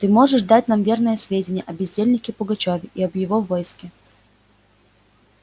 ты можешь нам дать верные сведения о бездельнике пугачёве и об его войске